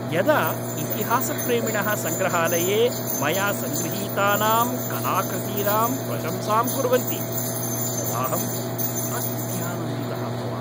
यदा इतिहासप्रेमिणः सङ्ग्रहालये मया सङ्गृहीतानाम् कलाकृतीनां प्रशंसां कुर्वन्ति तदाहम् अत्यानन्दितः भवामि।